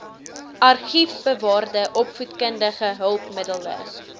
argiefbewaarde opvoedkundige hulpmiddele